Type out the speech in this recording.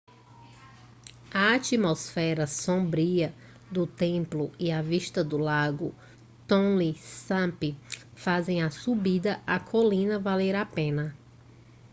a atmosfera sombria do templo e a vista do lago tonle sap fazem a subida à colina valer a pena